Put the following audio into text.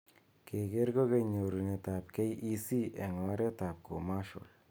Keker kokeny nyorunet ab KEC eng oret ab commercial.